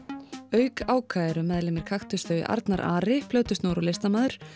auk Áka eru meðlimir Kaktuss þau Arnar Ari plötusnúður og listamaður